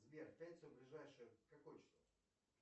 сбер в пятницу ближайшее какое число